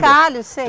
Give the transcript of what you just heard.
sei.